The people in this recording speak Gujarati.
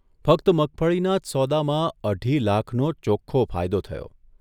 ફક્ત મગફળીના જ સોદામાં અઢી લાખનો ચોખ્ખો ફાયદો થયો.